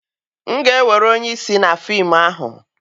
M ga-ewere onye isi na fim ahụ.